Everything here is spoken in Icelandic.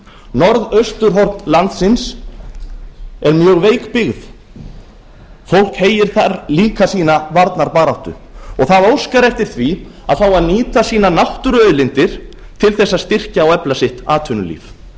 norðausturhorn landsins er mjög veik byggð fólk heyr þar líka sína varnarbaráttu það óskar eftir því að fá að nýta náttúruauðlindir sínar til að styrkja og efla atvinnulíf sitt